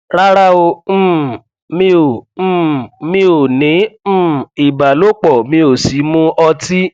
rárá o um mi ò um mi ò ní um ìbálòpọ mi ò sì mu ọtí